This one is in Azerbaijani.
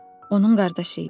Onun qardaşı idi.